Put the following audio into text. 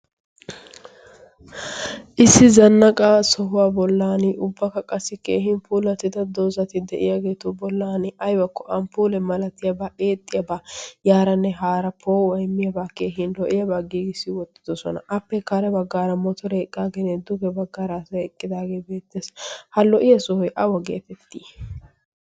issi zannaqaa sohuwaa bollan ubbakka qassi keehin puula tida doozati de7iyaageetu bollan aibakko amppuule malatiyaabaa eexxiyaabaa' yaaranne haara poo aimmiyaabaa keehin lo7iyaabaa giigissi wottidosona appee kaare baggaara moto reeqqa genee duge baggaaraasa eqqidaagee beette ha lo7iya sohoi awo geetettii